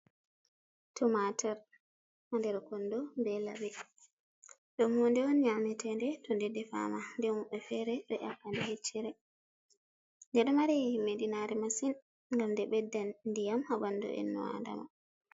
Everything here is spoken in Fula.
Tumaatir der kondo, be laɓi ɗum hunɗe on nyame teeɗe to nde defama, nde woɓɓe feere ɗo nyakka ɗee he'ccere, nde ɗo mari himmiɗi naare masin, ngam nde ɓeddan ndiyam haa ɓandu inno adama.